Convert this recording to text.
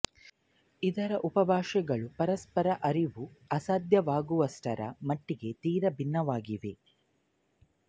ಇದರ ಉಪಭಾಷೆಗಳು ಪರಸ್ಪರ ಅರಿವು ಅಸಾಧ್ಯವಾಗುವಷ್ಟರ ಮಟ್ಟಿಗೆ ತೀರ ಭಿನ್ನವಾಗಿವೆ